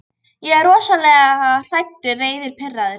Ég er rosalega hræddur, reiður, pirraður.